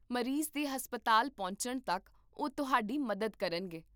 ਮਰੀਜ਼ ਦੇ ਹਸਪਤਾਲ ਪਹੁੰਚਣ ਤੱਕ ਉਹ ਤੁਹਾਡੀ ਮਦਦ ਕਰਨਗੇ